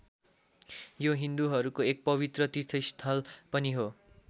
यो हिन्दूहरूको एक पवित्र तीर्थस्थल पनि हो।